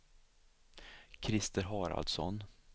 Krister Haraldsson